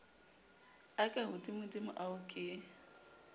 a ka hodimodimo ao ke